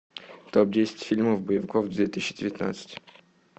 топ десять фильмов боевиков две тысячи девятнадцать